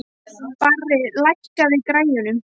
Barri, lækkaðu í græjunum.